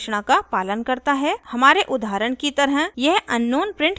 हमारे उदाहरण की तरह यह unknown प्रिंट करेगा